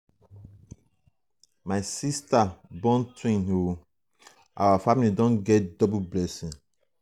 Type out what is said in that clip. my siata um born twins o our um family don get double blessing.